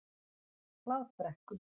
Hlaðbrekku